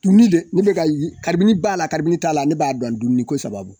Dumini le ne be k'a ye b'a la t'a la ne b'a dɔn dumuni ko sababu.